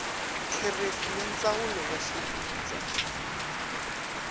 kherefu ya ndzawulo ya xivundza